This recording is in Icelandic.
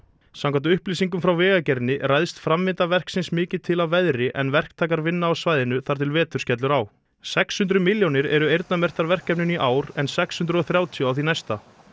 samkvæmt upplýsingum frá Vegagerðinni ræðst framvinda verksins mikið til af veðri en verktakar vinna á svæðinu þar til vetur skellur á sex hundruð milljónir eru eyrnamerktar verkefninu í ár en sex hundruð og þrjátíu á því næsta